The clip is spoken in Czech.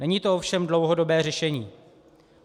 Není to ovšem dlouhodobé řešení.